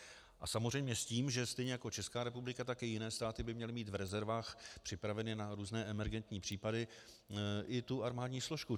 A samozřejmě s tím, že stejně jako Česká republika, tak i jiné státy by měly mít v rezervách připravenu na různé emergentní případy i tu armádní složku.